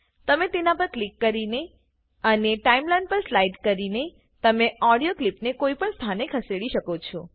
તમે તેના પર ક્લિક કરીને અને ટાઇમલાઇન પર સ્લાઇડ કરીને તમે ઓડિયો ક્લિપને કોઈપણ સ્થાને ખસેડી શકો છો